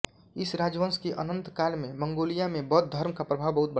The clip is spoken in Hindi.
इस राजवंश के अन्तकाल में मंगोलिया में बौद्ध धर्म का प्रभाव बहुत बढ़ा